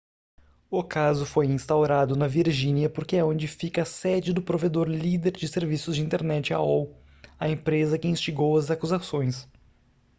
o caso foi instaurado na virgínia porque é onde fica a sede do provedor líder de serviços de internet aol a empresa que instigou as acusações